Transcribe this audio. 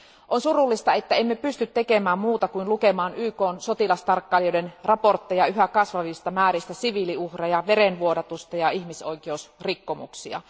On surullista, että emme pysty tekemään muuta kuin lukemaan YKn sotilastarkkailijoiden raportteja yhä kasvavista määristä siviiliuhreja, verenvuodatusta ja ihmisoikeusrikkomuksia.